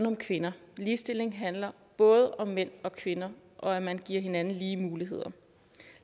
om kvinder ligestilling handler både om mænd og kvinder og at man giver hinanden lige muligheder